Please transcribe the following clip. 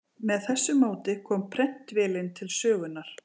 Með þessu móti kom prentvélin til sögunnar.